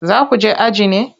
Za ku je aji ne?